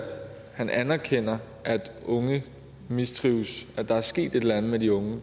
han anerkender at unge mistrives at der er sket et eller andet med de unge